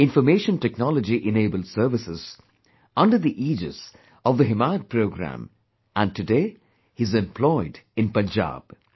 'Information Technology Enabled Services' uder the aegis of the 'Himayat Programme' and today he is employed in Punjab